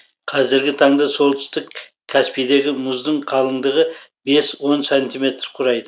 қазіргі таңда солтүстік каспийдегі мұздың қалыңдығы бес он сантиметр құрайды